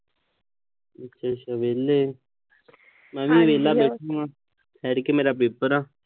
ਅੱਛਾ-ਅੱਛਾ ਵਿਹਲੇ। ਮੈ ਵੀ ਵਿਹਲਾ ਬੈਠਾਂ, ਤੜਕੇ ਮੇਰਾ ਪੇਪਰ ਆ।